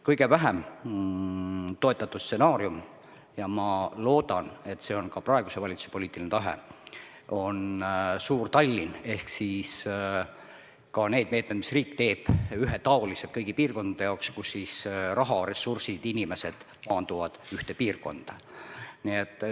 Kõige vähem toetatud stsenaarium – ja ma loodan, et see on ka praeguse valitsuse poliitiline tahe – on Suur-Tallinn ehk need meetmed, mis riik teeb, ühetaolised kõigi piirkondade jaoks, kus raha, ressursid, inimesed koonduvad ühte piirkonda.